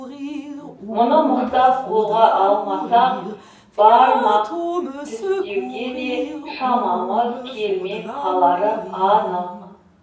мұны мықтап қолға алмасақ бармақ тістеуге де шамамыз келмей қалары анық